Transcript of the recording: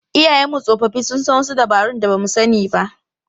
Iyayenmu tsofaffi sun san wasu dabarun da ba mu sani ba.